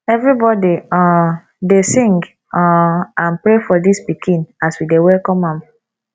everybody um dey sing um and pray for dis pikin as we dey welcome am